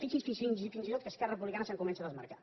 fixi’s fins i tot que esquerra republicana se’n comença a desmarcar